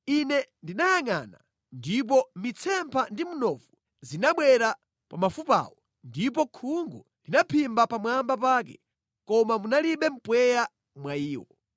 Ine ndinayangʼana, ndipo mitsempha ndi mnofu zinabwera pa mafupawo ndipo khungu linaphimba pamwamba pake, koma munalibe mpweya mwa iwo.